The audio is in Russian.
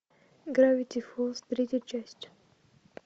гравити фолз третья часть